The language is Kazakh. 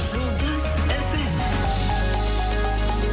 жұлдыз эф эм